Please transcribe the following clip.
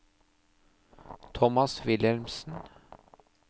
Tomas Wilhelmsen